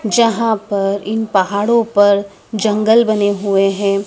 यहां पर इन पहाड़ों पर जंगल बने हुए हैं।